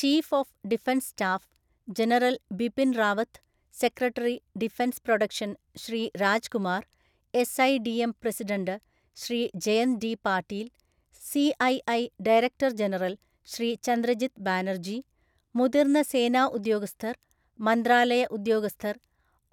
Chief of defence staff, general‍ Bipin‍ Rawat, secretary defence production‍, Shri Raj Kumar , SIDM. President, Shri Jayant D Patil‍, CII. Director‍ general‍, Shri Chandrajit Banerjee, മുതിര്‍ന്ന സേനാ ഉദ്യോഗസ്ഥര്‍, മന്ത്രാലയ ഉദ്യോഗസ്ഥര്‍,